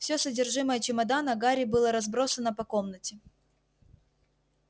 всё содержимое чемодана гарри было разбросано по комнате